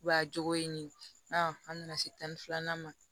Wa jogo ye nin ye an nana se tan ni filanan ma